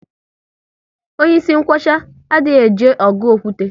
Onye ịsị nkwocha, a dị eje ọgụ okwute